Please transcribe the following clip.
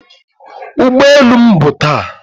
ụgbọ elu m bụ taa